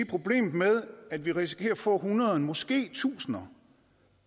problemet med at vi risikerer at få hundreder måske tusinder